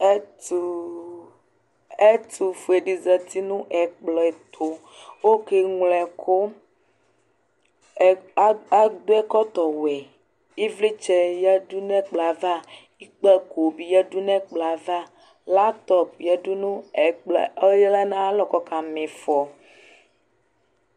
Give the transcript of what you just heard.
Ɛtʋ ɛtʋfue dɩ zati nʋ ɛkplɔ ɛtʋ kʋ ɔkeŋlo ɛkʋ Ɛkpl a adʋ ɛkɔtɔwɛ Ɩvlɩtsɛ yǝdu nʋ ɛkplɔ yɛ ava, ikpǝko bɩ yǝdu nʋ ɛkplɔ yɛ ava Laptɔp yǝdu nʋ ɛkplɔ ɔya nʋ ayalɔ kʋ ɔkama ɩfɔ